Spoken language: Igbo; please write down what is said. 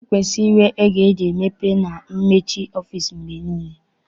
E kwesiri inwe oge eji emepe nakwa emechi ọfịịsi mgbe niile.